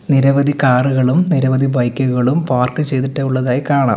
നിരവധി കാറു കളും നിരവധി ബൈക്കു കളും പാർക്ക് ചെയ്തിട്ടുള്ളതായികാണാം.